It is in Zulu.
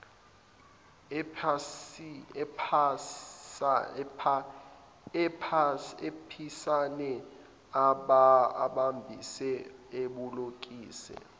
aphisane abambise abolekise